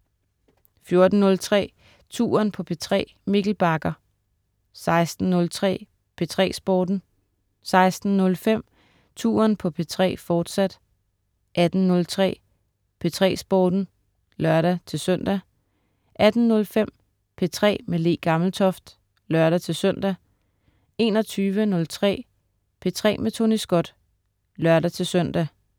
14.03 Touren på P3. Mikkel Bagger 16.03 P3 Sporten 16.05 Touren på P3, fortsat 18.03 P3 Sporten (lør-søn) 18.05 P3 med Le Gammeltoft (lør-søn) 21.03 P3 med Tony Scott (lør-søn)